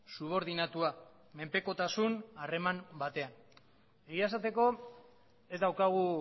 subordinatua menpekotasun harreman batean egia esateko ez daukagu